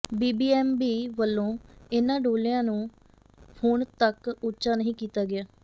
BBMB ਵੱਲੋਂ ਇਨ੍ਹਾਂ ਡੋਲਿਆਂ ਨੂੰ ਹੁਣ ਤਕ ਉੱਚਾ ਨਹੀਂ ਕੀਤਾ ਗਿਆ